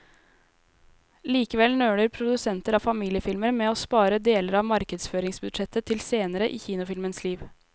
Likevel nøler produsenter av familiefilmer med å spare deler av markedsføringsbudsjettet til senere i kinofilmens liv.